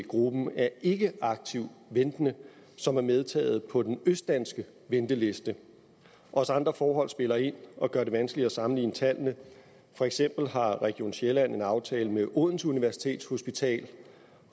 gruppen af ikke aktivt ventende som er medtaget på den østdanske venteliste også andre forhold spiller ind og gør det vanskeligt at sammenligne tallene for eksempel har region sjælland en aftale med odense universitetshospital